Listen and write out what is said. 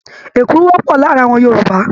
Èkuru wọ́pọ̀ láàárin àwọn Yorùbá.